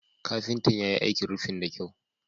Kafintan ya yi aikin rufin da kyau.